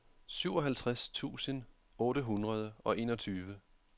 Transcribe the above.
syvoghalvtreds tusind otte hundrede og enogtyve